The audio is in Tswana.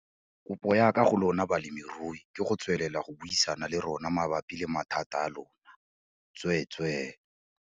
Kopo ya ka go lona balemirui ke go tswelela go buisana le rona mabapi le mathata a lona, tsweetswee.